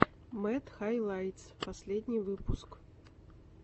мэд хайлайтс последний выпуск